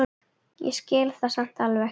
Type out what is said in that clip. Ég skil það samt alveg.